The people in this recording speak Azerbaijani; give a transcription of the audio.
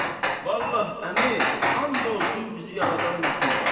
Vallah əmi, and olsun bizi yaradan məxluqa.